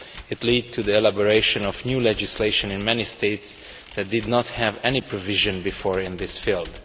It led to the elaboration of new legislation in many states that did not have any previous provisions in this field.